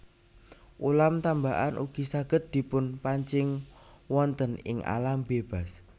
Ulam tambakan ugi saged dipunpancing wonten ing alam bebas